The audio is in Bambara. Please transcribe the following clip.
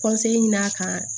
ɲini a kan